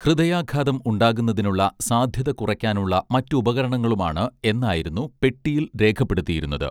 ഹൃദയാഘാതം ഉണ്ടാകുന്നതിനുള്ള സാധ്യത കുറയ്ക്കാനുള്ള മറ്റുപകരണങ്ങളുമാണ് എന്നായിരുന്നു പെട്ടിയിൽ രേഖപ്പെടുത്തിയിരുന്നത്